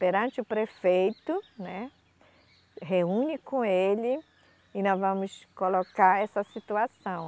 perante o prefeito, né, reúne com ele e nós vamos colocar essa situação.